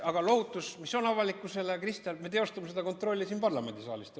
Aga lohutus avalikkusele, Kristian, on see, et me teostame seda kontrolli siin parlamendisaalis.